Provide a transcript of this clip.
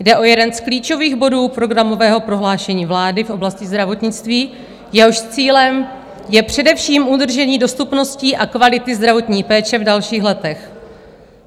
Jde o jeden z klíčových bodů programového prohlášení vlády v oblasti zdravotnictví, jehož cílem je především udržení dostupnosti a kvality zdravotní péče v dalších letech.